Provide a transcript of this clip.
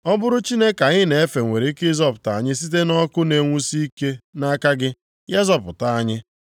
Ọ bụrụ Chineke anyị na-efe nwere ike ịzọpụta anyị site nʼọkụ na-enwusi ike nʼaka gị, ya zọpụta anyị.